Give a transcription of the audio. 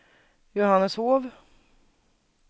Johanneshov